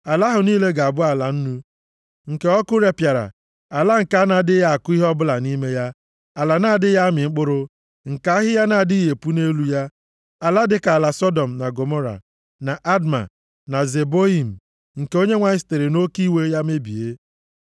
Ala ahụ niile ga-abụ ala nnu, nke ọkụ repịara, ala nke a na-adịghị akụ ihe ọbụla nʼime ya, ala na-adịghị amị mkpụrụ, nke ahịhịa na-adịghị epu nʼelu ya. Ala dịka ala Sọdọm na Gọmọra, na Adma, na Zeboiim, nke Onyenwe anyị sitere nʼoke iwe ya mebie.